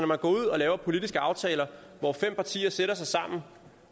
man går ud og laver politiske aftaler hvor fem partier sætter sig sammen